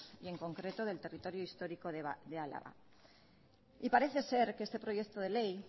y en concreto del territorio histórico de álava y parece ser que este proyecto de ley